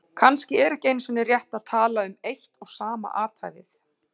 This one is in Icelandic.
Kannski er ekki einu sinni rétt að tala um eitt og sama athæfið.